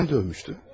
Nədən dövmüşdü?